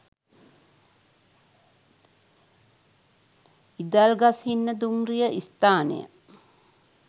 ඉදල්ගස්හින්න දුම්රිය ස්ථානය